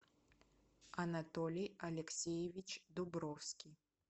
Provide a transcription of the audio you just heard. анатолий алексеевич дубровский